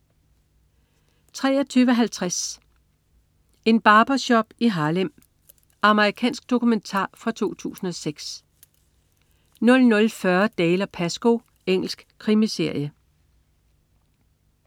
23.50 En barbershop i Harlem. Amerikansk dokumentar fra 2006 00.40 Dalziel & Pascoe. Engelsk krimiserie